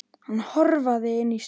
Hann hörfaði inn í stofu.